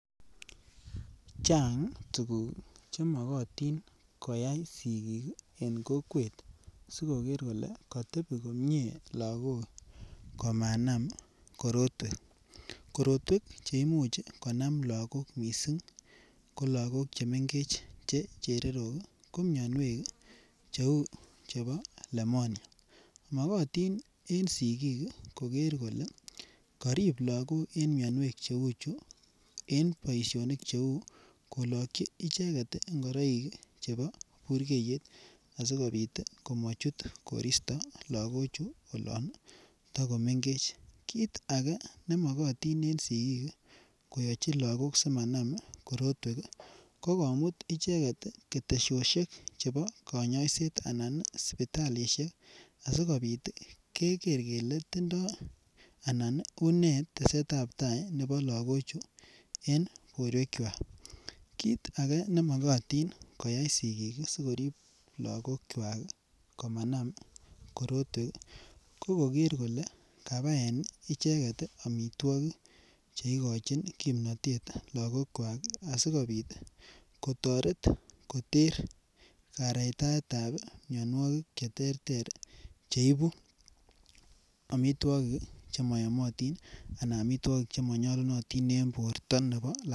Chang tukuk chemokotin koyai sikik ii en kokwet, sikoker kole katebi komie lagok komanam korotwek, korotwek cheimuch konam lagok mising ko lagok che mengech che chererok ii, ko mionwek ii cheu chebo lemonia, mokotin en sikik ii, koker kole karip lagok en mionwek cheu chu, en boisionik cheu kolokyi icheket ngoroik chebo burkeiyet asikobit komachut koristo lagochu olon ii takomengech, kiit ake ne mokotin en sikik ii, koyachi lagok simanam korotwek ii, ko komut icheket ii ketesiosiek chebo kanyoisiet anan sipitalisiek asikobit keker kele tindoi anan une tesetabtai nebo lagochu en borwekchwak, kiit ake ne mokotin koyai sikik sikorip lagokchwak komanam korotwek ii ko koker kole kabaen icheket ii amitwogik che ikochin kimnotet lagokwak asikobit kotoret koter kareitaetab mionwogik che terter che ibu amitwogik ii che mayomotin anan amitwogik che manyalunotin en borta nebo.